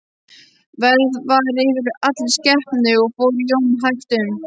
Værð var yfir allri skepnu og fór Jón hægt um.